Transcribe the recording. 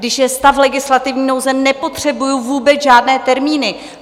Když je stav legislativní nouze, nepotřebuji vůbec žádné termíny.